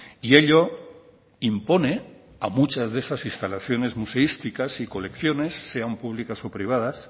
y ello impone a muchas de estas instalaciones museísticas y colecciones sean públicas o privadas